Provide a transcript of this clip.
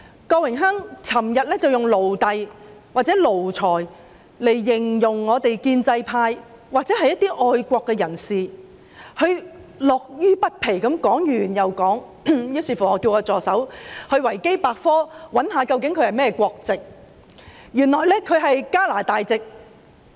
郭榮鏗議員昨天以"奴隸"或"奴才"來形容我們建制派或一些愛國人士，他樂此不疲，說完又說，於是我叫助手在"維基百科"搜尋他的國籍，原來他是加拿大籍。